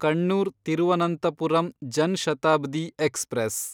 Kannur Thiruvananthapuram Jan Shatabdi express